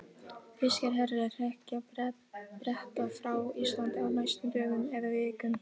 Þýskir herir hrekja Breta frá Íslandi á næstu dögum eða vikum.